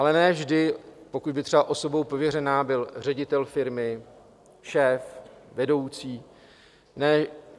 Ale ne vždy, pokud by třeba osobou pověřenou byl ředitel firmy, šéf, vedoucí.